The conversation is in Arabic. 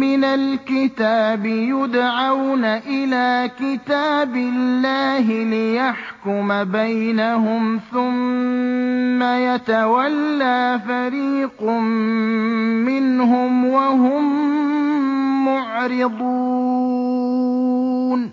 مِّنَ الْكِتَابِ يُدْعَوْنَ إِلَىٰ كِتَابِ اللَّهِ لِيَحْكُمَ بَيْنَهُمْ ثُمَّ يَتَوَلَّىٰ فَرِيقٌ مِّنْهُمْ وَهُم مُّعْرِضُونَ